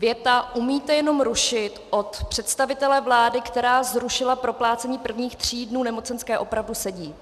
Věta "umíte jenom rušit" od představitele vlády, která zrušila proplácení prvních tří dnů nemocenské, opravdu sedí.